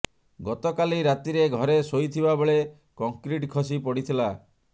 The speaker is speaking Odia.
ଗତକାଲି ରାତିରେ ଘରେ ଶୋଇଥିବା ବେଳେ କଂକ୍ରିଟ ଖସି ପଡିଥିଲା